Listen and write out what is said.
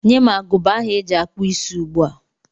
Nye m agụba ahụ eji akpụ isí ugbu a!